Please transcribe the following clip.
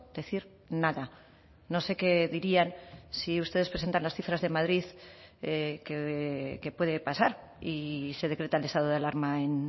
decir nada no sé qué dirían si ustedes presentan las cifras de madrid qué puede pasar y se decreta el estado de alarma en